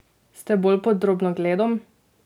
Ste bolj pod drobnogledom?